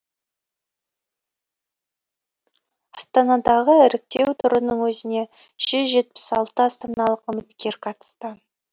астанадағы іріктеу турының өзіне жүз жетпіс алты астаналық үміткер қатысты